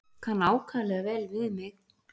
Kann ákaflega vel við mig.